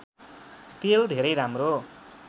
तेल धेरै राम्रो